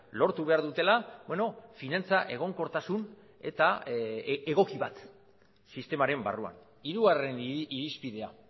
lortu behar dutela finantza egonkortasun eta egoki bat sistemaren barruan hirugarren irizpidea